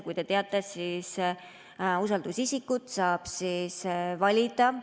Nagu te teate, usaldusisikut saab valida.